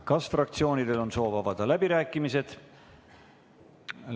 Kas fraktsioonidel on soov avada läbirääkimised?